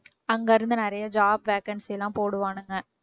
அங்க இருந்து நிறைய job vacancy லாம் போடுவானுங்க